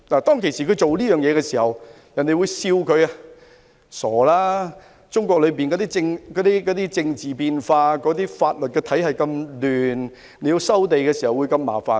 當時他做這件事，遭人取笑，指中國經常出現政治變化，而且法律體系混亂，收地時會很麻煩。